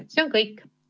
See on kõik.